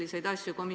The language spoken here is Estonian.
Aitäh, Taavi!